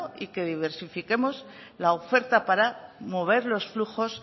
y que diversifiquemos la oferta para mover los flujos